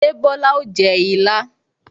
Ṣé o Bola o jẹ ilá?